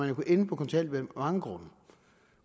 jo ende på kontanthjælp af mange grunde